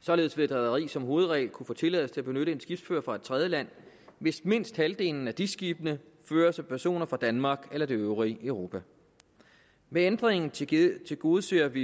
således vil et rederi som hovedregel kunne få tilladelse til at benytte en skibsfører fra et tredjeland hvis mindst halvdelen af dis skibene føres af personer fra danmark eller det øvrige europa ved ændringen tilgodeser vi